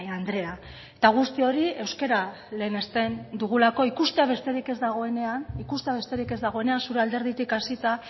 andrea eta guzti hori euskara lehenesten dugulako ikustea besterik ez dagoenean zure alderditik hasita